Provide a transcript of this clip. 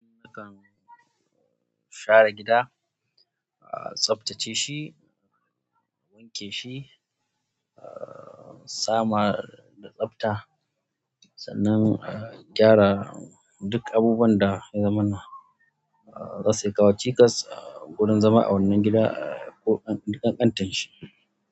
Nakan share gida, a tsaftace shi, wanke shi, a samar da tsafta, sannan a gyara duk abubuwan da ya zamana za su iya kawo cikas a wurin zama a wannan gida ko ƙanƙantar shi.